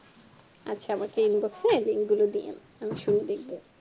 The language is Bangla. আচ্ছা আমাকে inbox এ link গুলো দিয়েন আমি শুনে দেখবো